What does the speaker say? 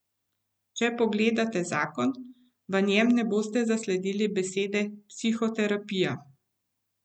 Če pogledate zakon, v njem ne boste zasledili besede psihoterapija.